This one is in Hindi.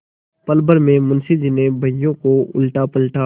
पलभर में मुंशी जी ने बहियों को उलटापलटा